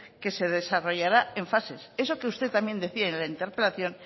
que se desarrollará en fases eso que usted también decía en la interpelación